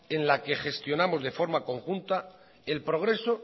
en la que gestionamos de forma conjunta el progreso